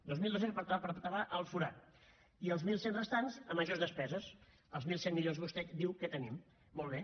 dos mil dos cents per tapar el forat i els mil cent restants a majors despeses els mil cent milions que vostè diu que tenim molt bé